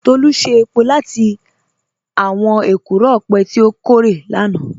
Tolu ṣe èpò látì àwọn èkúró ọpẹ̀ tí o kòrè lánà